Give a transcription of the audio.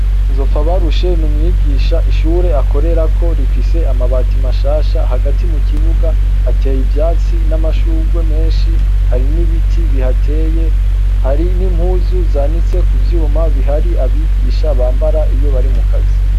Nzopfabarushe ni umwigisha ishure akorerako rifise amabati mashasha, hagati mu kibuga hateye ivyatsi n'amashurwe menshi, hari n'ibiti bihateye, hari n'impuzu zanitse ku vyuma bihari abigisha bambara iyo bari mukazi.